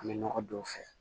An bɛ nɔgɔ don u fɛ